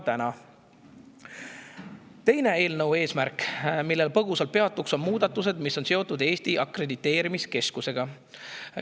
Eelnõu teine eesmärk, millel põgusalt peatun, on Eesti Akrediteerimiskeskusega seotud muudatuste.